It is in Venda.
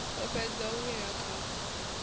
a fhedza o wina khaphu